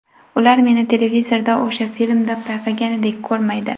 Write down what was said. Ular meni televizorda o‘sha filmda payqaganidek ko‘rmaydi.